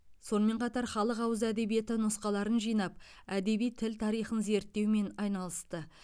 сонымен қатар халық ауыз әдебиеті нұсқаларын жинап әдеби тіл тарихын зерттеумен айналысты